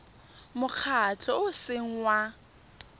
mokgatlho o o seng wa